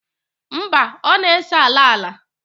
mba, ọ na-ese ala ala